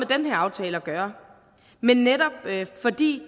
den her aftale at gøre men netop fordi